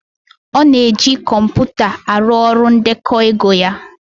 Ọ na-eji kọmpụta arụ ọrụ ndekọ ego ya